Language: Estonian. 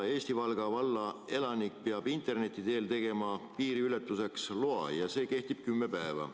Eesti Valga valla elanik peab interneti teel tegema piiriületuseks loa ja see kehtib kümme päeva.